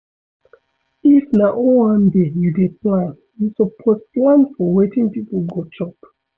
If na owanbe you dey plan you suppose plan for wetin pipo go chop